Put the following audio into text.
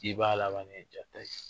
I b'a labannen ye